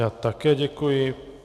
Já také děkuji.